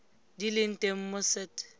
di leng teng mo set